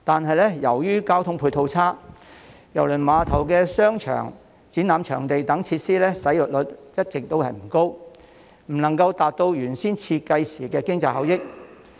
可是，由於交通配套差，郵輪碼頭的商場、展覽場地等設施使用率一直不高，未能達到原先設計時預期的經濟效益。